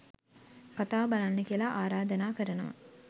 කතාව බලන්න කියලා ආරධනා කරනවා